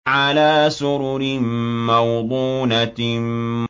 عَلَىٰ سُرُرٍ مَّوْضُونَةٍ